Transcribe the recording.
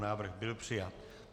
Návrh byl přijat.